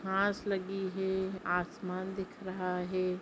घास लगी है आसमान दिख रहा है।